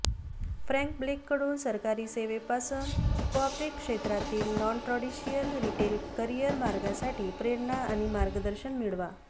Frank Blake कडून सरकारी सेवेपासून कॉर्पोरेट क्षेत्रातील नॉनट्रॅाडिशियल रिटेल करियर मार्गासाठी प्रेरणा आणि मार्गदर्शन मिळवा